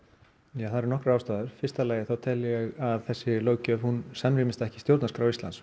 ja það eru nokkrar ástæður í fyrsta lagi þá tel ég að þessi löggjöf samrýmist ekki stjórnarskrá Íslands